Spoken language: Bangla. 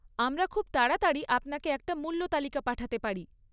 আমরা খুব তাড়াতাড়ি আপনাকে একটা মূল্য তালিকা পাঠাতে পারি।